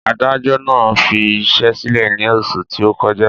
Adájọ́ náà fi iṣẹ́ sílẹ̀ ní oṣù tí ó kọjá